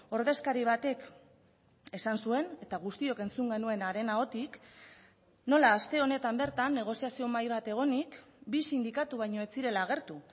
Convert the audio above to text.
ordezkari batek esan zuen eta guztiok entzun genuen haren ahotik nola aste honetan bertan negoziazio mahai bat egonik bi sindikatu baino ez zirela agertu